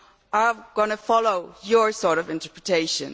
are going to follow your sort of interpretation?